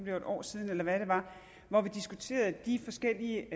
et år siden eller hvad det var hvor vi diskuterede de forskellige